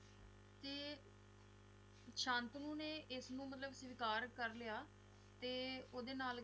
ਤੇ ਸ਼ਾਂਤਨੂੰ ਨੇ ਇਸਨੂੰ ਮਤਲਬ ਸਵੀਕਾਰ ਕਰ ਲਿਆ ਤੇ ਓਹਦੇ ਨਾਲ